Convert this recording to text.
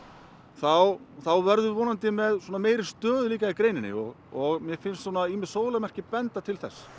þá þá verðum við vonandi með meiri stöðugleika í greininni og og mér finnst ýmis merki benda til þess